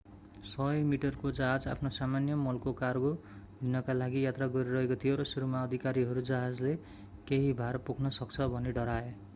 100 मिटरको जहाज आफ्नो सामान्य मलको कार्गो लिनका लागि यात्रा गरिरहेको थियो र सुरुमा अधिकारीहरू जहाजले केही भार पोख्न सक्छ भनी डराए